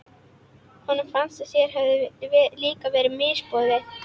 Honum fannst að sér hefði líka verið misboðið.